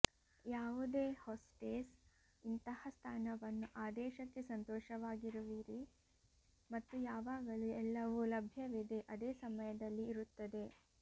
ಯಾವುದೇ ಹೊಸ್ಟೆಸ್ ಇಂತಹ ಸ್ಥಾನವನ್ನು ಆದೇಶಕ್ಕೆ ಸಂತೋಷವಾಗಿರುವಿರಿ ಮತ್ತು ಯಾವಾಗಲೂ ಎಲ್ಲವೂ ಲಭ್ಯವಿದೆ ಅದೇ ಸಮಯದಲ್ಲಿ ಇರುತ್ತದೆ